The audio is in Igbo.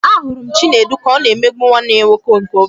A hụrụ m Chinedu ka ọ na-emegbu nwanne ya nwoke nke obere